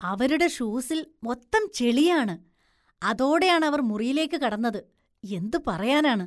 അവരുടെ ഷൂസില്‍ മൊത്തം ചെളിയാണ്, അതോടെയാണ് അവര്‍ മുറിയിലേക്ക് കടന്നത്, എന്തു പറയാനാണ്.